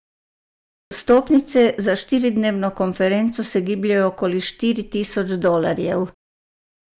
Vstopnice za štiridnevno konferenco se gibljejo okoli štiri tisoč dolarjev.